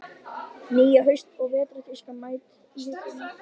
Nýja haust- og vetrartískan mætt í hillurnar.